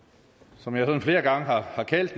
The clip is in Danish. som jeg sådan flere gange har har kaldt